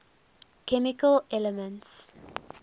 chemical elements